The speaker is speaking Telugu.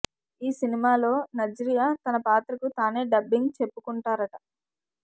ఈ సినిమాలో నజ్రియా తన పాత్రకు తానే డబ్బింగ్ చెప్పుకుంటారట